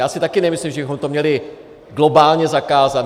Já si taky nemyslím, že bychom to měli globálně zakázat.